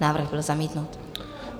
Návrh byl zamítnut.